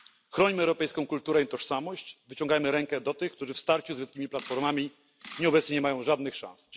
Chronimy europejską kulturę i tożsamość, wyciągajmy rękę do tych, którzy w starciu z wielkimi platformami obecnie nie mają żadnych szans.